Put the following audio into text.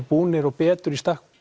búnir og betur í stakk